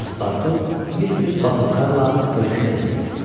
Paspartu Mister Batulkarla görüşmək istədi.